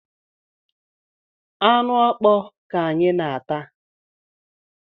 Anụ mkpọ ka anyị na-ata